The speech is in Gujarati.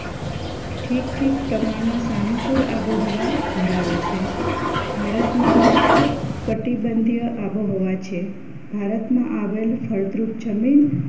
ઠીક ઠીક પ્રમાણમાં સાનુકૂળ આબોહવા ધરાવે છે ભારતમાં ઉચ્ચ કટિબંધીય આબોહવા છે ભારતમાં આવેલ ફળદ્રુપ જમીન